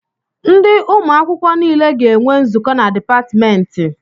Ndị ụmụ akwụkwọ nile ga-enwe nzukọ na dịpatmentị